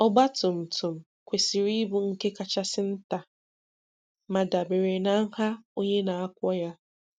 Ọgbatumtum kwesịrị ịbụ nke kachasị nta ma dabere na nha onye na-akwọ ya.